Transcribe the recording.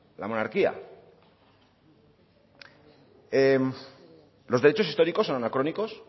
la monarquía los derechos históricos son anacrónicos